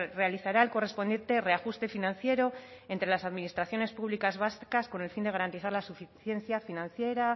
realizará el correspondiente reajuste financiero entre las administraciones públicas vascas con el fin de garantizar la suficiencia financiera